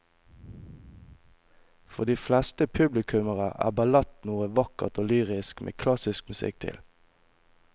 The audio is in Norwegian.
For de fleste publikummere er ballett noe vakkert og lyrisk med klassisk musikk til.